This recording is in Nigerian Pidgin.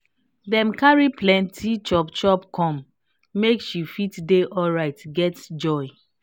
dem carry plenty chop chop come make she fit dey alright get joy